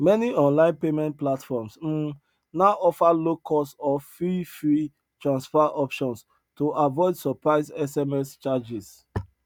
many online payment platforms um now offer lowcost or fee free transfer options to avoid surprise sms charges